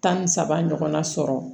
Tan ni saba ɲɔgɔnna sɔrɔ